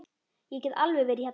Ég get alveg verið þerna.